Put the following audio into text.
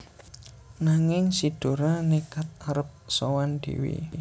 Nanging si Dora nékad arep sowan dhéwé